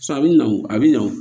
a bɛ na wo a bɛ na wo